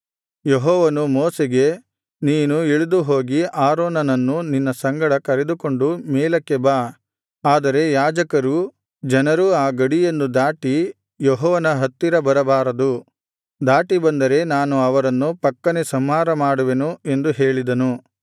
ಯೆಹೋವನು ಮೋಶೆಗೆ ನೀನು ಇಳಿದುಹೋಗಿ ಆರೋನನ್ನು ನಿನ್ನ ಸಂಗಡ ಕರೆದುಕೊಂಡು ಮೇಲಕ್ಕೆ ಬಾ ಆದರೆ ಯಾಜಕರೂ ಜನರೂ ಆ ಗಡಿಯನ್ನು ದಾಟಿ ಯೆಹೋವನ ಹತ್ತಿರ ಬರಬಾರದು ದಾಟಿ ಬಂದರೆ ನಾನು ಅವರನ್ನು ಪಕ್ಕನೇ ಸಂಹಾರ ಮಾಡುವೆನು ಎಂದು ಹೇಳಿದನು